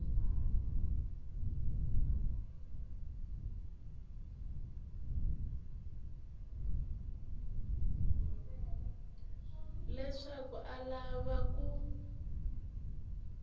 leswaku a a lava ku